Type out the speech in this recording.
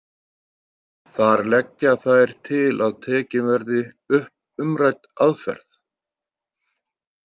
Þar leggja þær til að tekin verði upp umrædd aðferð.